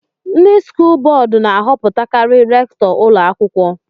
Ndị skụl bọọdú na-ahọpụtakari rèktọ ụlọ akwụkwọ